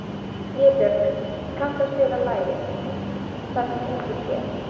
Vébjörg, kanntu að spila lagið „Það sem enginn sér“?